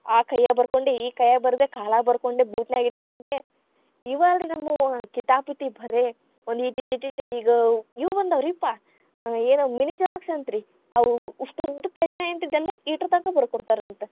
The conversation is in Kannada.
ಆ ಕೈಯಾಗ್‌ ಬರಕೊಂಡೆ, ಈ ಕೈಯಾಗ್‌ ಬರ್ದೇ ಕಾಲಾಗ್‌ ಬರಕೊಂಡೆ, ಬೂಟನ್ಯಾಗ ಇಟ್ಟಕೊಂಡೆ. ಈವ್‌ ಅಲ್ರಿ ನಮ್ಮೂವು ಕಿತಾಪತಿ ಭರೆ, ಒಂದೀಟಿಟಿಟಿಟ್ ಈಗ್‌, ಯೂವ್‌ ಬಂದಾವರೀಪ್ಪಾ ಆ ಏನ್ ಔ mini xerox ಅಂತ್ರಿ ಅವು ಉಷ್ಟುದ್ದು ನ್ಯಾಗ ಇದ್ದಿದ್ದೆಲ್ಲಾ ಈಟರ್ದಾಗ ಬರದ್ಕೊಡತಾರಂತ.